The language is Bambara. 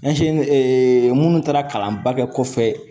minnu taara kalanba kɛ kɔfɛ